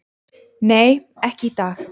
"""Nei, ekki í dag."""